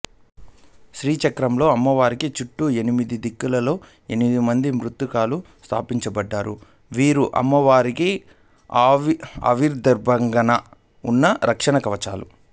శ్రీచక్రంలో అమ్మవారికి చుట్టూ ఎనిమిది దిక్కులలో ఎనిమిది మంది మాతృకలు స్థాపించబడ్డారు వీరు అమ్మవారికి అష్టదిగ్భంధనగా ఉన్న రక్షణ కవచాలు